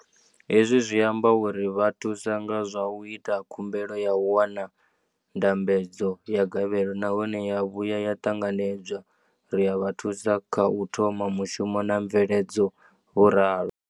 Hezwi zwi amba uri ri vha thusa nga zwa u ita khumbelo ya u wana ndambedzo ya gavhelo nahone ya vhuya ya ṱanganedzwa, ri a vha thusa kha u thoma mushumo na mveledzo, vho ralo.